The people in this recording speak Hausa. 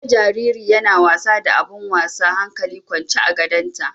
Na ga jariri yana wasa da abun wasa hankali kwance a gadonta.